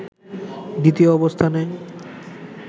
দ্বিতীয় অবস্থানে